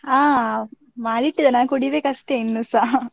ಅಹ್ ಮಾಡಿಟ್ಟಿದ್ದೇನೆ ನಾ ಕುಡಿಬೇಕು ಅಷ್ಟೇ ಇನ್ನುಸ .